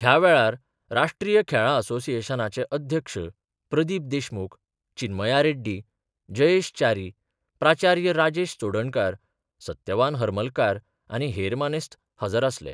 ह्या वेळार राष्ट्रीय खेळां असोसिएशनाचे अध्यक्ष प्रदीप देशमुख चिन्मया रेड्डी, जयेश च्यारी, प्राचार्य राजेश चोडणकार, सत्यवान हरमलकार आनी हेर मानेस्त हजर आसले.